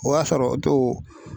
O y'a sɔrɔ o to.